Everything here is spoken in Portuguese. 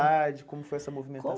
como foi essa movimentação?